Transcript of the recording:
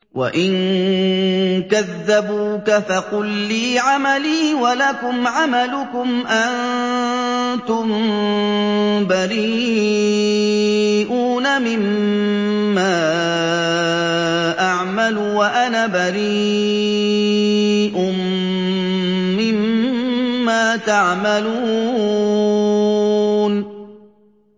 وَإِن كَذَّبُوكَ فَقُل لِّي عَمَلِي وَلَكُمْ عَمَلُكُمْ ۖ أَنتُم بَرِيئُونَ مِمَّا أَعْمَلُ وَأَنَا بَرِيءٌ مِّمَّا تَعْمَلُونَ